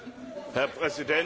Herr Präsident,